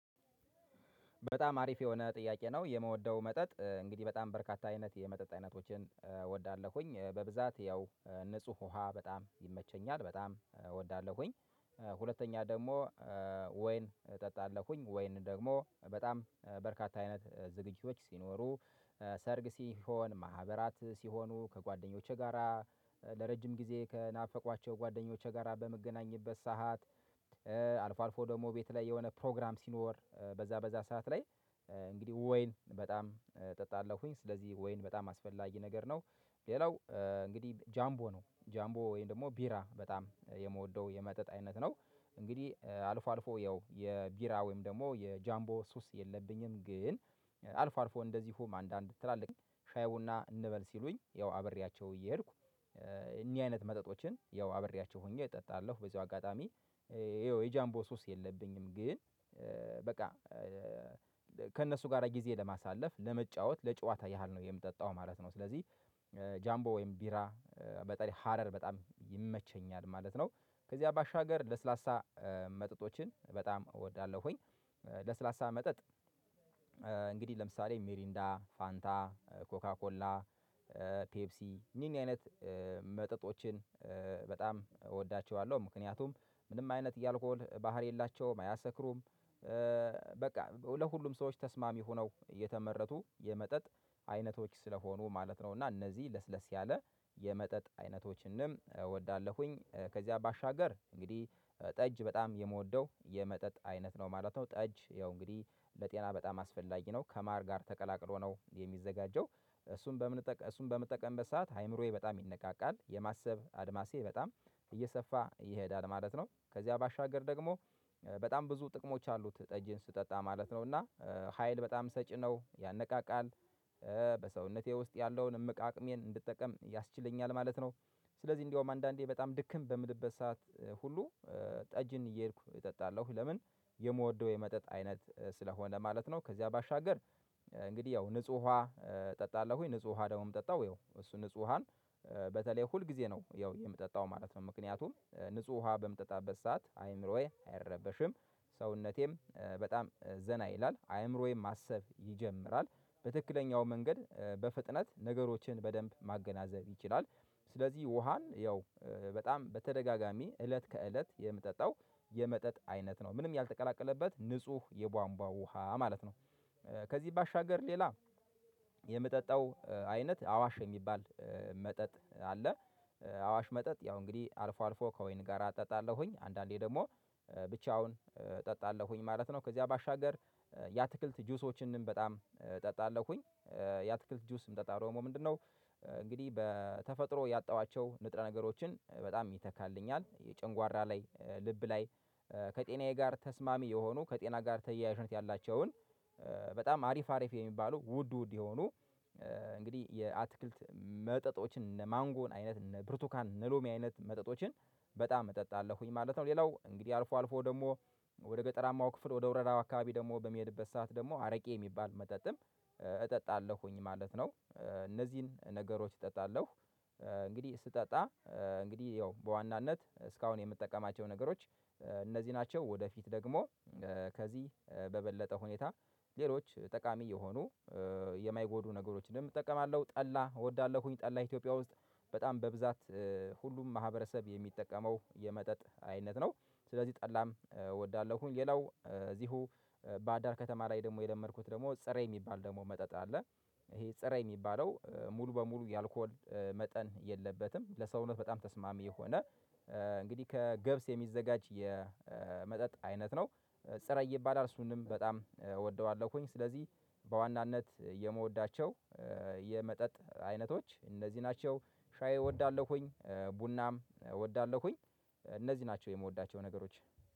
በጣም አሪፍ የሆነ ጥያቄ ነው። የምወደው መጠጥ እንግዲህ በጣም በርካታ አይነት የመጠጥ አይነቶችን ወዳለሁኝ በብዛት ያው ንጹህ ውሃ በጣም ይመቸኛል። በጣም እወዳለሁኝ። ሁለተኛ ደግሞ ወይን እጠጣለሁኝ። ወይን ደግሞ በጣም በርካታ አይነት ዝግጅቶች ሲኖሩ ሰርግ ሲሆን፣ ማህበራት ሲሆኑ፣ ከጓደኞቼ ጋራ ለረጅም ጊዜ ከናፈቋቸው ጓደኞች ጋራ በምገናኝበት ሰዓት፣ አልፎ አልፎ ደግሞ ቤት ላይ የሆነ ፕሮግራም ሲኖር በዛ በዛ ሰዓት ላይ እንግዲህ ወይን በጣም እጣለሁኝ። ስለዚህ ወይን በጣም አስፈላጊ ነገር ነው። ሌላው እንግዲህ ጃምቦ ነው። ጃምቦ ወይም ደግሞ ቢራ በጣም የምወደው የመጠጥ አይነት ነው። እንግዲህ አልፎ አልፎ ያው የቢራ ወይም ደግሞ የጃምቦ ሱስ የለብኝም። ግን አልፎ አልፎ እንደዚሁም አንዳንድ ትላልቅ ሻይ ቡና እንበል ሲሉኝ ያው አብሪያቸው እየሄድኩ እኒህ አይነት መጠጦችን ያው አብሬያቸው ሆኜ እጣለሁ። በዚሁ አጋጣሚ ያው የጃምቦ ሱስ የለብኝም። ግን በቃ ጋር ጊዜ ለማሳለፍ ለመጫወት ለጨዋታ ያህል ነው የምጠጣው ማለት ነው። ስለዚህ ጃምቦ ወይም ቢራ በተለይ ሀረር በጣም ይመቸኛል ማለት ነው። ከዚያ ባሻገር ለስላሳ መጠጦችን በጣም እወዳለሁኝ። ለስላሳ መጠጥ ለምሳሌ ሜሪንዳ፣ ፋንታ፣ ኮካ፣ ኮላ ኮላ፣ ፔፕሲ እኒህ እኒህ አይነት መጠጦችን በጣም እወዳቸዋለሁ። ምክንያቱም ምንም አይነት የአልኮል ባህሪ የላቸውም፣ አያሰክሩም። በቃ ለሁሉም ሰዎች ተስማሚ ሆነው የተመረቱ የመጠጥ አይነቶች ስለሆኑ ማለት ነው። እና እነዚህ ለስለስ ያለ የመጠጥ አይነቶችንም እወዳለሁኝ። ከዚያ በሻገር እንግዲህ ጠጅ በጣም የምወደው የመጠጥ አይነት ነው ማለት ነው። ጠጅ ያው እንግዲህ ለጤና በጣም አስፈላጊ ነው። ከማር ጋር ተቀላቅሎ ነው የሚዘጋጀው። እሱን በምንጠቀም እሱን በምጠቀምበት ሰዓት አእምሮዬ በጣም ይነቃቃል። የማሰብ አድማሴ በጣም እየሰፋ ይሄዳል ማለት ነው። ከዚያ ባሻገር ደግሞ በጣም ብዙ ጥቅሞች አሉት ጠጅን ስጠጣ ማለት ነው። እና ሀይል በጣም ሰጪ ነው፣ ያነቃቃል። በሰውነቴ ውስጥ ያለውን እምቅ አቅሜን እንድጠቀም ያስችለኛል ማለት ነው። ስለዚህ እንደውም አንዳንዴ በጣም ድክም በምልበት ሰዓት ሁሉ ጠጅን እየሄድኩ እጣለሁ። ለምን? የምወደው የመጠጥ አይነት ስለሆነ ማለት ነው። ከዚያ ባሻገር እንግዲህ ያው ንጹህ ውሃ እጠጣለሁኝ። ንጹህ ውሃ ደግሞ እምጠጣው ያው እሱ ንጹህ ውሃን በተለይ ሁል ጊዜ ነው ያው የምጠጣው ማለት ነው። ምክንያቱም ንጹህ ውሃ በምጠጣበት ሰዓት አእምሮዬ አይረበሽም። ሰውነቴም በጣም ዘና ይላል። አእምሮዬም ማሰብ ይጀምራል። በትክክለኛው መንገድ በፍጥነት ነገሮችን በደንብ ማገናዘብ ይችላል። ስለዚህ ውሃን ያው በጣም በተደጋጋሚ እለት ከእለት የምጠጣው የመጠጥ አይነት ነው። ምንም ያልተቀላቀለበት ንጹህ የቧንቧ ውሃ ማለት ነው። ከዚህ ባሻገር ሌላ የምጠጣው አይነት አዋሽ የሚባል መጠጥ አለ። አዋሽ መጠጥ ያው እንግዲህ አልፎ አልፎ ከወይን ጋር እጠጣለሁኝ። አንዳንዴ ደግሞ ብቻውን እጠጣለሁኝ ማለት ነው። ከዚያ ባሻገር የአትክልት ጁሶችንም በጣም እጠጣለሁኝ። የአትክልት ጁስ ምጠጣው ደግሞ ምንድን ነው? እንግዲህ በተፈጥሮ ያጣኋቸው ንጥረ ነገሮችን በጣም ይተካልኛል። የጨንጓራ ላይ ልብ ላይ ከጤናዬ ጋር ተስማሚ የሆኑ ከጤና ጋር ተያያዥነት ያላቸውን በጣም አሪፍ አሪፍ የሚባለው ውድ ውድ የሆኑ እንግዲህ የአትክልት መጠጦችን እነ ማንጎን አይነት፣ እነ ብርቱካን እነ ሎሚ አይነት መጠጦችን በጣም እጠጣለሁኝ ማለት ነው። ሌላው እንግዲህ አልፎ አልፎ ደግሞ ወደ ገጠራማው ክፍል ወደ ወረዳው አካባቢ ደግሞ በምሄድበት ሰዓት ደግሞ አረቄ የሚባል መጠጥም እጠጣለሁኝ ማለት ነው። እነዚህን ነገሮች እጠጣለሁ። እንግዲህ ስጠጣ እንግዲህ ያው በዋናነት እስካሁን የምጠቀማቸው ነገሮች እነዚህ ናቸው። ወደፊት ደግሞ ከዚህ በበለጠ ሁኔታ ሌሎች ጠቃሚ የሆኑ የማይጎዱ ነገሮችንም እጠቀማለሁ። ጠላ እወዳለሁኝ። ጠላ ኢትዮጵያ ውስጥ በጣም በብዛት ሁሉም ማህበረሰብ የሚጠቀመው የመጠጥ አይነት ነው። ስለዚህ ጠላም እወዳለሁኝ። ሌላው እዚሁ ባህር ዳር ከተማ ላይ ደግሞ የለመድኩት ደግሞ ፀረ የሚባል ደግሞ መጠጥ አለ። ይሄ ፀረ የሚባለው ሙሉ በሙሉ የአልኮል መጠን የለበትም። ለሰውነት በጣም ተስማሚ የሆነ እንግዲህ ከገብስ የሚዘጋጅ የመጠጥ አይነት ነው። ጸራይ ይባላል እሱንም በጣም እወደዋለሁኝ። ስለዚህ በዋናነት የምወዳቸው የመጠጥ አይነቶች እነዚህ ናቸው። ሻይ እወዳለሁኝ። ቡናም እወዳለሁኝ። እነዚህ ናቸው የምወዳቸው ነገሮች።